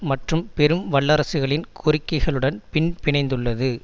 மற்றும் பெரும் வல்லரசுகளின் கோரிக்கைகளுடன் பின்பிணைந்துள்ளது